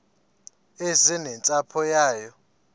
eze nentsapho yayo